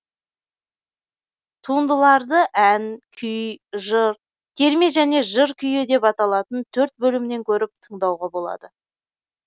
туындыларды ән күй жыр терме және жыр күйі деп аталатын төрт бөлімнен көріп тыңдауға болады